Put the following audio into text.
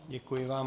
Děkuji vám.